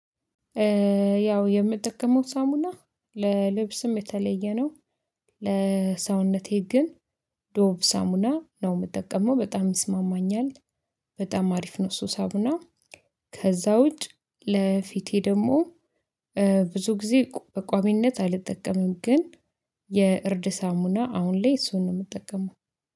ያው የምጠቀመው ሳሙና ለልብስም የተለየ ነው። ለሰውነቴ ግን ዶቭ ሳሙና ነው የምጠቀመው በጣም ይስማማኛል። በጣም አሪፍ ነው። ሱስ አቡና ከዛ ውጭ ለፊቴ ደግሞ ብዙ ጊዜ በቋሚነት አልጠቀምም። ግን የእርድ ሳሙና አሁን ላይ እሱን ነው የምጠቀመው።